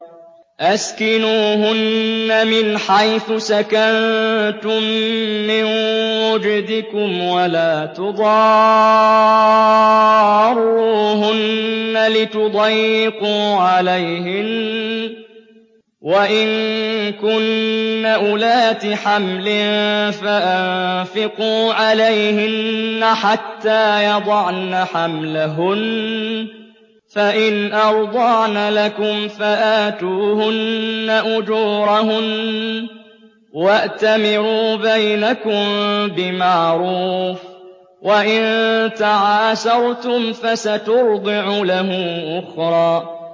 أَسْكِنُوهُنَّ مِنْ حَيْثُ سَكَنتُم مِّن وُجْدِكُمْ وَلَا تُضَارُّوهُنَّ لِتُضَيِّقُوا عَلَيْهِنَّ ۚ وَإِن كُنَّ أُولَاتِ حَمْلٍ فَأَنفِقُوا عَلَيْهِنَّ حَتَّىٰ يَضَعْنَ حَمْلَهُنَّ ۚ فَإِنْ أَرْضَعْنَ لَكُمْ فَآتُوهُنَّ أُجُورَهُنَّ ۖ وَأْتَمِرُوا بَيْنَكُم بِمَعْرُوفٍ ۖ وَإِن تَعَاسَرْتُمْ فَسَتُرْضِعُ لَهُ أُخْرَىٰ